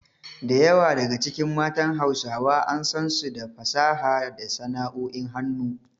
Da yawa daga cikin matan Hausawa an san su da fasaha da sana’o’in hannu.